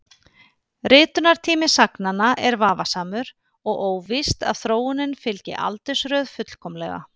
Ritunartími sagnanna er vafasamur og óvíst að þróunin fylgi aldursröð fullkomlega.